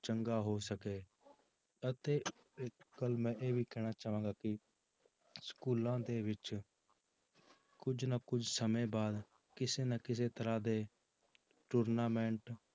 ਚੰਗਾ ਹੋ ਸਕੇ ਅਤੇ ਇੱਕ ਗੱਲ ਮੈਂ ਇਹ ਵੀ ਕਹਿਣਾ ਚਾਹਾਂਗਾ ਕਿ ਸਕੂਲਾਂ ਦੇ ਵਿੱਚ ਕੁੱਝ ਨਾ ਕੁੱਝ ਸਮੇਂ ਬਾਅਦ ਕਿਸੇ ਨਾ ਕਿਸੇ ਤਰ੍ਹਾਂ ਦੇ tournament